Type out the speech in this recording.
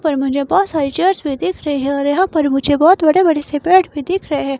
पर मुझे बहुत सारी चर्च भी दिख रही हैऔर यहाँ पर मुझे बहुत बड़े-बड़े से पैट भी दिख रहे हैं।